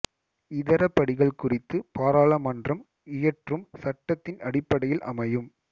இதர படிகள் குறித்து பாராளுமன்றம் இயற்றும் சட்டத்தின் அடிப்படையில் அமையும்